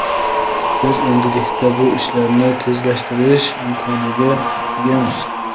Biz endilikda bu ishlarni tezlashtirish imkoniga egamiz.